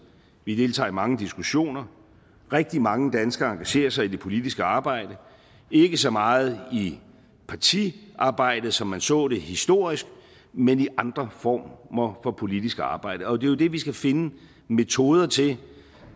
vi deltager i mange diskussioner rigtig mange danskere engagerer sig i det politiske arbejde ikke så meget i partiarbejde som man så det historisk men i andre former for politisk arbejde og det er jo det vi skal finde metoder til